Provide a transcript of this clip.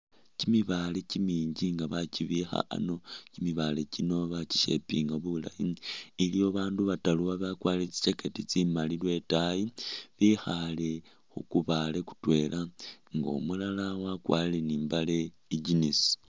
Kyimibaale kyiminji nga bakyibikha ano, kyimibaale kyino bikyi shapinga bulaayi, iliwo bandu bataru babakwarile tsi' jacket tsimaali lwetaayi bikhale khukubale kutwela nga umulala wakwarile ni'mbale i'jeans